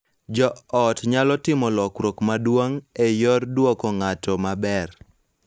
Jo ot nyalo timo lokruok maduong� e yor dwoko ng�ato maber.